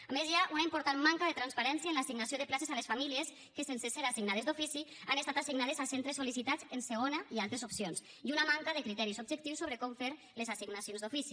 a més hi ha una important manca de transparència en l’assignació de places a les famílies que sense ser assignades d’ofici han estat assignades a centres sol·licitats en segona i altres opcions i una manca de criteris objectius sobre com fer les assignacions d’ofici